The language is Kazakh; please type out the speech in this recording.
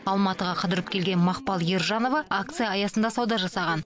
алматыға қыдырып келген мақпал ержанова акция аясында сауда жасаған